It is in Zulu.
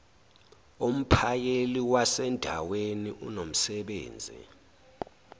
umphakeli wasendaweni unomsebenzi